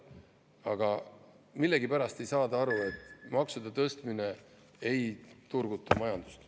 Aga millegipärast ei saada aru, et maksude tõstmine ei turguta majandust.